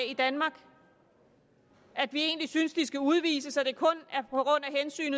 i danmark og at vi egentlig synes de skal udvises og